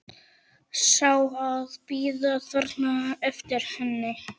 Sjá það bíða þarna eftir henni.